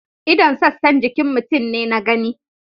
ldon' sassan jikin mutum ne na gani.